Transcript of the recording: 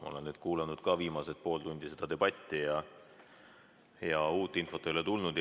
Olen kuulanud viimased pool tundi seda debatti ja uut infot ei ole tulnud.